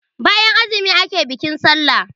bayan azumi ake bikin sallah